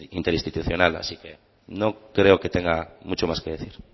interinstitucional así que no creo que tenga mucho más que decir